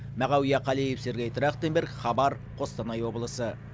мағауия қалиев сергей трахтенберг хабар қостанай облысы